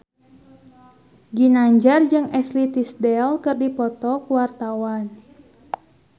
Ginanjar jeung Ashley Tisdale keur dipoto ku wartawan